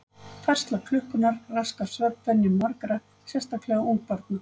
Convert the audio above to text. Færsla klukkunnar raskar svefnvenjum margra, sérstaklega ungbarna.